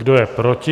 Kdo je proti?